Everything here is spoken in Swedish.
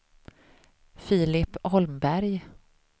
Filip Holmberg